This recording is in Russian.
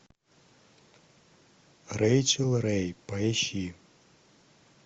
рэйчел рэй поищи